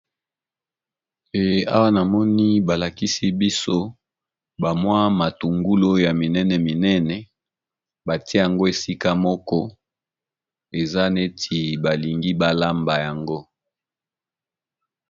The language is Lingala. Awa namoni balakisi biso matungulu ya minene bati yango esika moko eza neti balingi balamba yango.